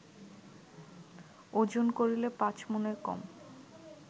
ওজন করিলে পাঁচ মণের কম